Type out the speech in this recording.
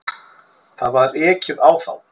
Það var ekið á þá.